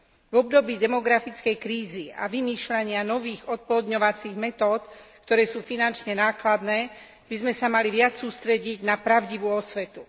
V období demografickej krízy a vymýšľania nových oplodňovacích metód, ktoré sú finančne nákladné, by sme sa mali viac sústrediť na pravdivú osvetu.